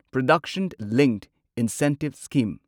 production linked incentive scheme